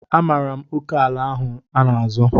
Amaara m oke ala ahụ a n'azọ.